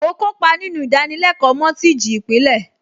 Mo kópa nínú ìdánilẹ́kọ̀ọ́ mọ́tíìjì ìpìlẹ̀